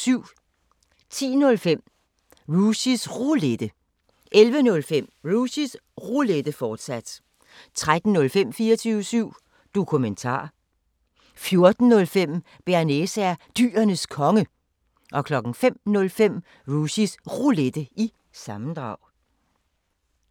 10:05: Rushys Roulette 11:05: Rushys Roulette, fortsat 13:05: 24syv Dokumentar 14:05: Bearnaise er Dyrenes Konge 05:05: Rushys Roulette – sammendrag